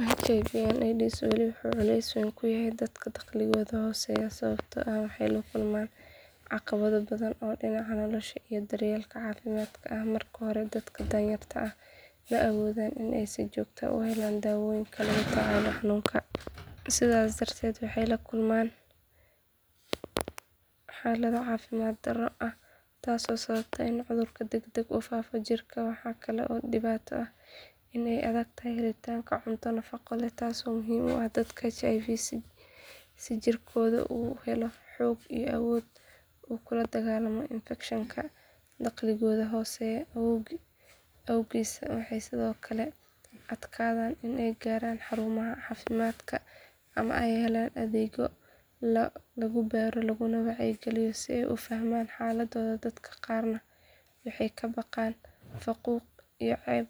HIV AIDS wali wuxuu culays weyn ku yahay dadka dakhligoodu hooseeyo sababtoo ah waxay la kulmaan caqabado badan oo dhinaca nolosha iyo daryeelka caafimaadka ah marka hore dadka danyarta ah ma awoodaan in ay si joogto ah u helaan daawooyinka lagula tacaalo xanuunka sidaas darteed waxay la kulmaan xaalado caafimaad darro ah taasoo sababa in cudurku degdeg ugu faafo jirka waxaa kale oo dhibaato ah in ay adag tahay helitaanka cunto nafaqo leh taasoo muhiim u ah dadka qaba HIV si jirkoodu u helo xoog iyo awood uu kula dagaallamo infekshanka dakhligooda hooseeya awgiis waxay sidoo kale ku adkaataa in ay gaaraan xarumaha caafimaadka ama ay helaan adeegyo lagu baaro laguna wacyigeliyo si ay u fahmaan xaaladdooda dadka qaarna waxay ka baqaan faquuq iyo ceeb